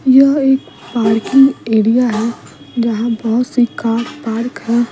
यह एक parking area है जहां बहुत सी कार पार्क है।